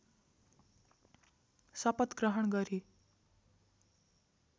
शपथ ग्रहण गरी